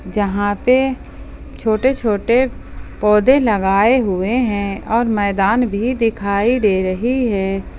जहां पे छोटे छोटे पौधे लगाए हुए हैं और मैदान भी दिखाई दे रही हैं।